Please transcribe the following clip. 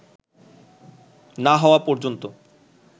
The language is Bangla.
না হওয়া পর্যন্ত